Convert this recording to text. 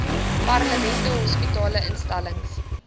parlement hospitale instellings